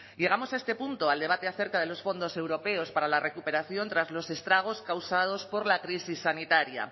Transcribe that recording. llegamos a este punto al debate acerca de los fondos europeos para la recuperación tras los estragos causados por la crisis sanitaria